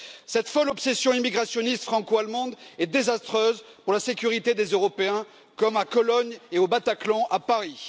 Cette folle obsession immigrationniste franco allemande est désastreuse pour la sécurité des Européens, comme à Cologne et au Bataclan à Paris.